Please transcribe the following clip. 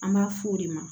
An b'a f'o de ma